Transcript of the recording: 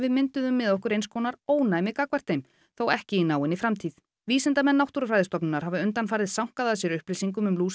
mynduðum með okkur eins konar ónæmi gagnvart þeim þó ekki í náinni framtíð vísindamenn Náttúrufræðistofnunar hafa undanfarið sankað að sér upplýsingum um